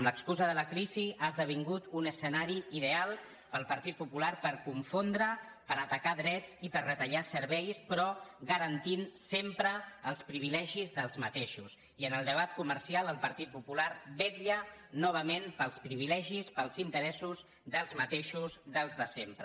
l’excusa de la crisi ha esdevingut un escenari ideal per al partit popular per confondre per atacar drets i per retallar serveis però garantint sempre els privilegis dels mateixos i en el debat comercial el partit popular vetlla novament pels privilegis pels interessos dels mateixos dels de sempre